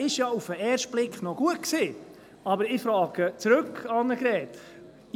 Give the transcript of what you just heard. Dieser war auf den ersten Blick ja noch gut, aber ich frage zurück, Grossrätin Hebeisen: